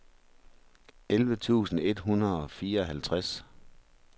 elleve tusind et hundrede og fireoghalvtreds